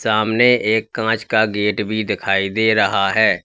सामने एक कांच का गेट भी दिखाई दे रहा है।